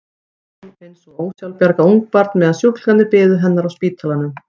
Hér lá hún eins og ósjálfbjarga ungbarn meðan sjúklingarnir biðu hennar á spítalanum.